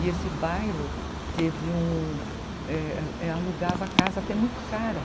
E esse bairro... teve um... alugava casa até muito cara.